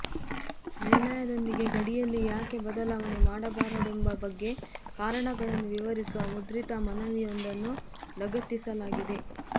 ನಿರ್ಣಯದೊಂದಿಗೆ ಗಡಿಯಲ್ಲಿ ಯಾಕೆ ಬದಲಾವಣೆ ಮಾಡಬಾರದೆಂಬ ಬಗ್ಗೆ ಕಾರಣಗಳನ್ನು ವಿವರಿಸುವ ಮುದ್ರಿತ ಮನವಿಯೊಂದನ್ನು ಲಗತ್ತಿಸಲಾಗಿದೆ